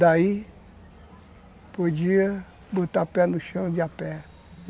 Daí, podia botar pé no chão de a pé.